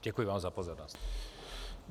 Děkuji vám za pozornost.